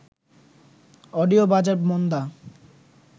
audio বাজার মন্দা